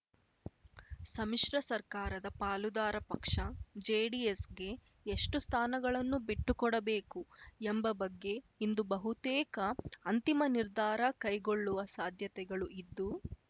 ಸಮ್ಮಿಶ್ರ ಸರ್ಕಾರದ ಪಾಲುದಾರ ಪಕ್ಷ ಜೆಡಿಎಸ್‌ಗೆ ಎಷ್ಟು ಸ್ಥಾನಗಳನ್ನು ಬಿಟ್ಟುಕೊಡಬೇಕು ಎಂಬ ಬಗ್ಗೆ ಇಂದು ಬಹುತೇಕ ಅಂತಿಮ ನಿರ್ಧಾರ ಕೈಗೊಳ್ಳುವ ಸಾಧ್ಯತೆಗಳು ಇದ್ದು